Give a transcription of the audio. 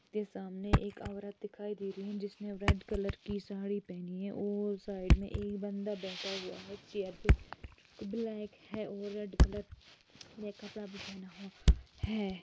ते सामने एक औरत दिखाई दे रही जिसने रेड कलर की साड़ी पहनी है और साइड में एक बंदा बैठा हुआ है चेयर पे ब्लैक है वो रेड कलर में कपड़ा भी पहना हुआ है।